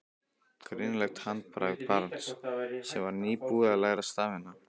Greinilegt handbragð barns sem var nýbúið að læra stafina.